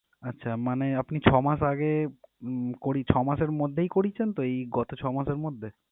আচ্ছা মানে আপনি ছমাস আগে উম করি~ ছমাসের মধ্যেই করিয়েছেন তো গত ছয় মাসের মধ্যে